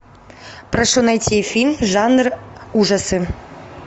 прошу найти фильм жанр ужасы